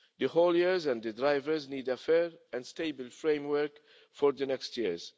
The hauliers and the drivers need a fair and stable framework for the next years.